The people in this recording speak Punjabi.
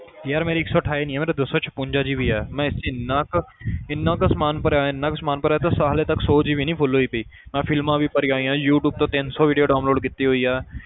ਯਾਰ ਮੇਰੀ ਇੱਕ ਸੌ ਅਠਾਈ ਨੀ ਹੈ ਮੇਰੀ ਦੋ ਸੌ ਛਪੰਜਾ GB ਆ ਮੈਂ ਇਹ 'ਚ ਇੰਨਾ ਕੁ ਇੰਨਾ ਕੁ ਸਮਾਨ ਭਰਿਆ ਹੋਇਆ ਇੰਨਾ ਕੁ ਸਮਾਨ ਭਰਿਆ ਤੇ ਹਾਲੇ ਤੱਕ ਸੌ GB ਨੀ full ਹੋਈਗੀ ਮੈਂ films ਵੀ ਭਰੀਆਂ ਹੋਈਆਂ ਯੂ ਟਿਊਬ ਤੋਂ ਤਿੰਨ ਸੌ video download ਕੀਤੀ ਹੋਈ ਆ